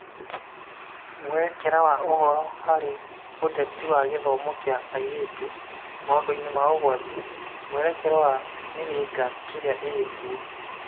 Mwerekera wa ũhoro harĩ ũteti wa gĩthomo kĩa airĩtu maũndũ-inĩ ma ũgwati, mwerekera wa mĩhĩnga ĩrĩa ĩrĩ kuo